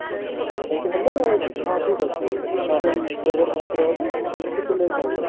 ଏମିତି ହେଲେ ହଁ ଠିକ ଅଛି over match ରେ ହବ ଖାଲି ଟିକେ late ହବ